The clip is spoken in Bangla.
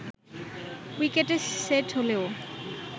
উইকেটে সেট হলেও